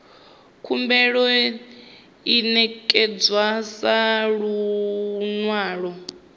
khumbelo i ṋekedzwa sa luṅwalo